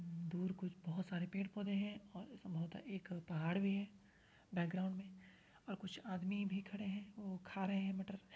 दूर कुछ बोहोत सारे पेड़ पोधे हैं और बहोत अ एक पहाड़ भी है बैकग्राउंड में और कुछ आदमी भी खड़े है। वो खा रहे है मटर --